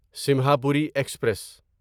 Simhapuri express